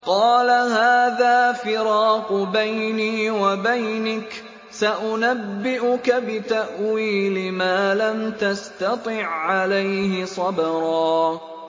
قَالَ هَٰذَا فِرَاقُ بَيْنِي وَبَيْنِكَ ۚ سَأُنَبِّئُكَ بِتَأْوِيلِ مَا لَمْ تَسْتَطِع عَّلَيْهِ صَبْرًا